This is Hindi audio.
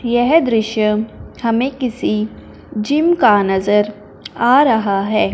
यह दृश्य हमें किसी जिम का नजर आ रहा है।